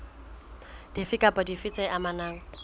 dife kapa dife tse amanang